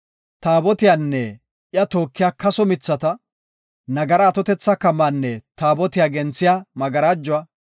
Taabotiyanne iya tookiya kaso mithata, nagara atotetha kamaanne Taabotiya genthiya magarajuwa;